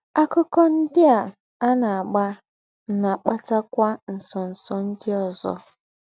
“ Àkụ́kọ̀ ńdị́ à à ná-àgbà ná-àkpàtakwà ńsọ̀nsọ̀ ńdị́ ózọ. ”